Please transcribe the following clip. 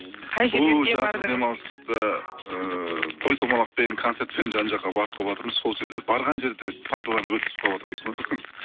ыыы той томалақпен концертпен жан жаққа барып қалыватырмыз сол жерлер барған жерді пайдаланып өткізіп қалыватырмыз ғой